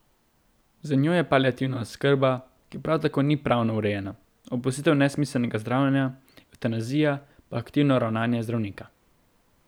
Za njo je paliativna oskrba, ki prav tako ni pravno urejena, opustitev nesmiselnega zdravljenja, evtanazija pa aktivno ravnanje zdravnika.